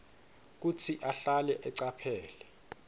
kutsi ahlale acaphele